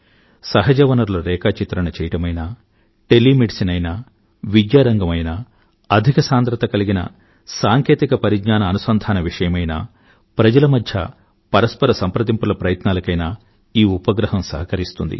సహజ వనరుల రేఖాచిత్రణ చేయడమైనా టెలి మెడిసిన్ ఐనా విద్యారంగం ఐనా అధిక సాంద్రత కలిగిన సాంకేతిక పరిజ్ఞాన అనుసంధాన విషయమైనా ప్రజల మధ్య పరస్పర సంప్రదింపుల ప్రయత్నాలకైనా ఈ ఉపగ్రహం సహకరిస్తుంది